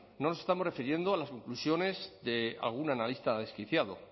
no nos estamos refiriendo a las conclusiones de algún analista desquiciado